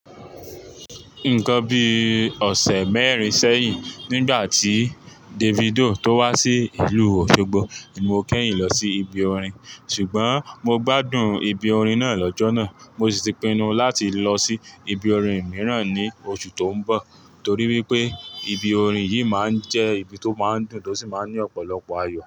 Nǹkan bí ọ̀sẹ̀ mẹ́rin sẹ́yìn, nígbà tí Davido tó wá sí ìlú Òṣogbo ni mo kẹ́yìn lọ sí ibi orin, ṣùgbọ́n mo gbádùn ibi orin náà lọ́jọ́ náà, mo sì ti pinnu láti lọ sí ibi orin mìíràn ní oṣù tó ń bọ̀ torí wípé ibi orin yìí máa ń jẹ́ ibi tó máa ń dùn tó sì máa ń ní ọ̀pọ̀lọpọ̀ ayọ̀